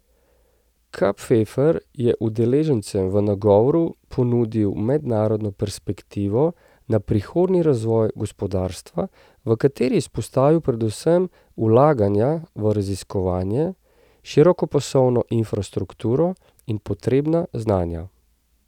Kapferer je udeležencem v nagovoru ponudil mednarodno perspektivo na prihodnji razvoj gospodarstva, v kateri je izpostavil predvsem vlaganja v raziskovanje, širokopasovno infrastrukturo in potrebna znanja.